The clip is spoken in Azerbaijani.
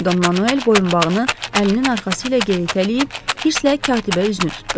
Don Manuel boyunbağını əlinin arxası ilə geritələyib hirstlə katibə üzünü tutdu.